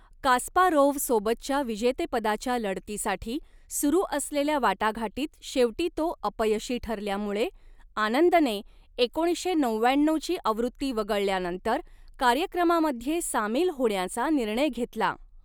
कास्पारोव्हसोबतच्या विजेतेपदाच्या लढतीसाठी सुरू असलेल्या वाटाघाटीत शेवटी तो अपयशी ठरल्यामुळे, आनंदने एकोणीसशे नवव्याण्णऊ ची आवृत्ती वगळल्यानंतर कार्यक्रमामध्ये सामील होण्याचा निर्णय घेतला.